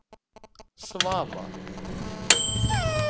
Svava